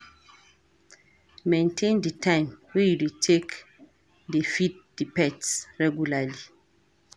Maintain di time wey you take dey feed di pets regularly